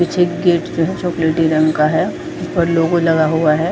पीछे गेट जो है जो चॉकलेटी रंग का है और लोगो लगा हुआ है।